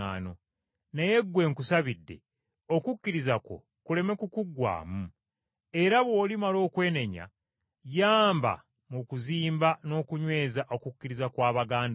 naye ggwe nkusabidde okukkiriza kwo kuleme kukuggwaamu. Era bw’olimala okwenenya, yamba mu kuzimba n’okunyweza okukkiriza kwa baganda bo.”